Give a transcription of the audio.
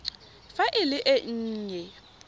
fa e le e nnye